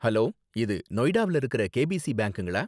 Hello, இது நொய்டாவுல இருக்குற கேபிசி பேங்க்குங்களா?